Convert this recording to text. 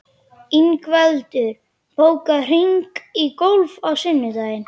Ingveldur, bókaðu hring í golf á sunnudaginn.